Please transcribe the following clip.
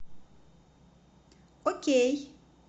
окей